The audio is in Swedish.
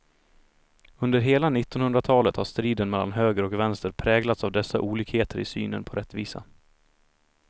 Under hela nittonhundratalet har striden mellan höger och vänster präglats av dessa olikheter i synen på rättvisa.